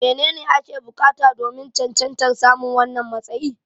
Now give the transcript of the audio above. Menene ake bukata domin cancantar samun wannan matsayi?